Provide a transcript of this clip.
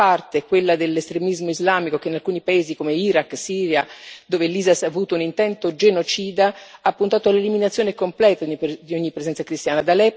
Da una parte, quella dell'estremismo islamico, che in alcuni paesi come Iraq e Siria, dove l'Isis ha avuto un intento genocida, ha puntato all'eliminazione completa di ogni presenza cristiana.